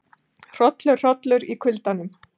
Hrollur hollur í kuldanum